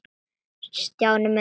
Stjáni minn.